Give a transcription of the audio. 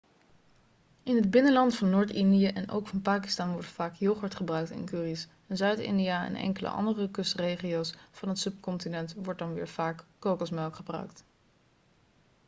in het binnenland van noord-india en ook van pakistan wordt vaak yoghurt gebruikt in curry's in zuid-india en enkele andere kustregio's van het subcontinent wordt dan weer vaak kokosmelk gebruikt